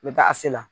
N bɛ taa a se la